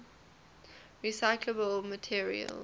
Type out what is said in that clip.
recyclable materials